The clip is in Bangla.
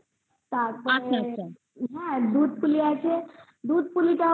তারপরে দুধপুলি আছে দুধপুলিটা তোমার ছোট